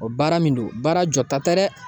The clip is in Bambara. O baara min don baara jɔta tɛ dɛ